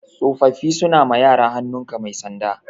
Tsofaffi suna ma yara hannun ka mai sanda